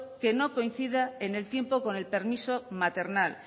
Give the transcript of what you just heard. que no coincida en el tiempo con el permiso maternal